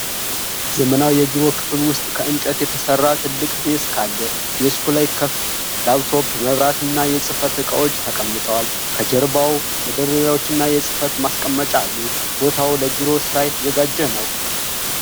ዘመናዊ የቢሮ ክፍል ውስጥ ከእንጨት የተሠራ ትልቅ ዴስክ አለ። ዴስኩ ላይ ክፍት ላፕቶፕ፣ መብራትና የጽሕፈት ዕቃዎች ተቀምጠዋል። ከጀርባው መደርደሪያዎችና የመጻሕፍት ማስቀመጫ አሉ። ቦታው ለቢሮ ሥራ የተዘጋጀ ነው።